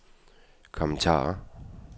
kommentarer